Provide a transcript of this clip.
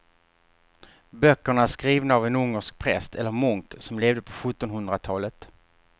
Böckerna är skrivna av en ungersk präst eller munk som levde på sjuttonhundratalet.